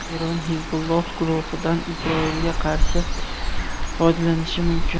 Eron Hizbulloh guruhidan Isroilga qarshi foydalanishi mumkin.